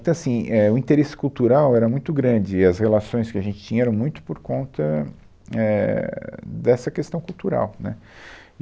Então, assim, é, o interesse cultural era muito grande e as relações que a gente tinha eram muito por conta, éh, dessa questão cultural, né.